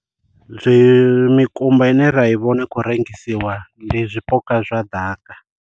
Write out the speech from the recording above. Zwi mikumba ine ra i vhona i kho rengisiwa ndi zwipuka zwa ḓaka.